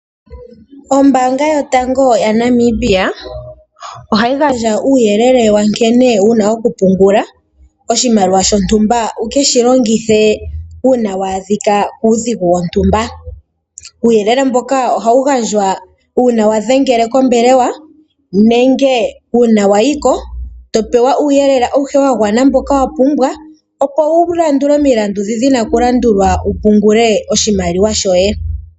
Ombaanga yotango yaNamibia, ohayi gandja uuyelele wankene wuna okupungula oshimaliwa shontumba wuke shilongithe uuna waadhika kuudhigu wontumba. Uuyelele mboka ohawu gandjwa uuna wadhengele kombelewa, nenge uuna wayiko topewa uuyelele awuhe mboka wapumbwa opo wulandule omilandu ndi dhina okulandulwa wupungule oshimaliwa shoye.